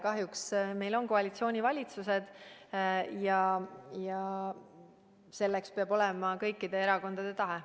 Kahjuks meil on koalitsioonivalitsused ja selleks peab olema kõikide erakondade tahe.